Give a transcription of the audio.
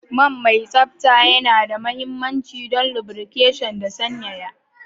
Man mai tsabta yana da mahimmanci don lubrication da sanyaya.